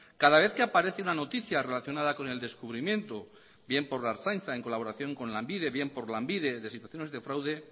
cada vez que aparece una noticia relacionada con el descubrimiento bien por la ertzaintza en colaboración con lanbide bien por lanbide de situaciones de fraude